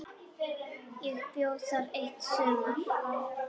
Ég bjó þar eitt sumar.